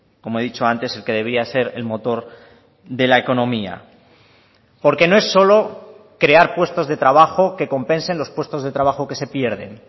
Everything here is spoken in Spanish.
como he dicho antes el que debía ser el motor de la economía porque no es solo crear puestos de trabajo que compensen los puestos de trabajo que se pierden